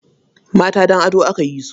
Mata don ado aka yi su.